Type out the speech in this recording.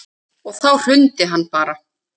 Og þá hrundi hann bara.